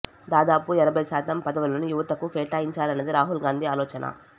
దాదాపు ఎనభై శాతం పదవులను యువతకు కేటాయించాలన్నది రాహుల్ గాంధీ ఆలోచన